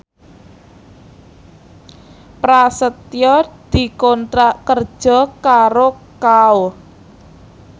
Prasetyo dikontrak kerja karo Kao